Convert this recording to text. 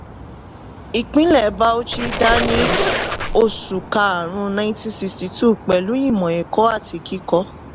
ìpínlè bauchi dá ní oṣù karùn-ún nineteen sixty two pẹ̀lú ìmọ̀ ẹ̀kọ́ àti kíkọ́.